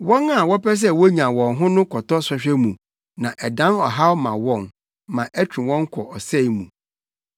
Wɔn a wɔpɛ sɛ wonya wɔn ho no kɔtɔ sɔhwɛ mu na ɛdan ɔhaw ma wɔn ma ɛtwe wɔn kɔ ɔsɛe mu.